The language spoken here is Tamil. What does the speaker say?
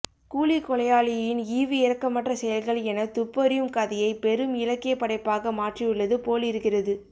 கூலிக்கொலையாளியின் ஈவுஇரக்கமற்ற செயல்கள் எனத் துப்பறியும் கதையைப் பெரும் இலக்கியப்படைப்பாக மாற்றியுள்ளது போலிருக்கிறது